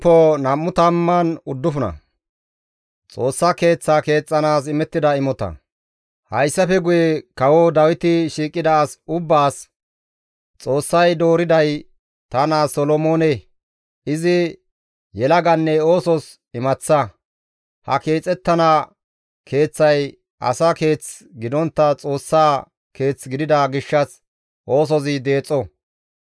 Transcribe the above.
Hayssafe guye kawo Dawiti shiiqida as ubbaas, «Xoossay dooriday ta naa Solomoone; izi yelaganne oosos imaththa; ha keexettana keeththay asa keeth gidontta Xoossaa Keeth gidida gishshas oosozi deexo.